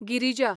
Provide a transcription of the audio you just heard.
Girija